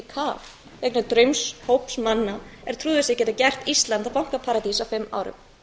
í kaf vegna draums hóps manna er trúðu sig geta gert ísland að bankaparadís á fimm árum